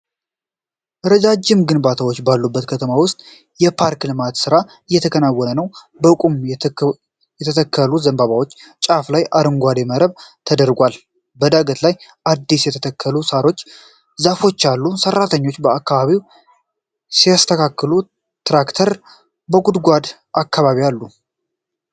ረጃጅም ግንባታዎች ባሉበት ከተማ ውስጥ የፓርክ ልማት ሥራ እየተከናወነ ነው። በቁም የተተከሉ ዘንባባዎች ጫፍ ላይ አረንጓዴ መረብ ተደርጓል። በዳገት ላይ አዲስ የተተከሉ ሳሮችና ዛፎች አሉ። ሠራተኞች አካባቢውን ሲያስተካክሉ ትራክተር በጉድጓዱ አካባቢ አሉ።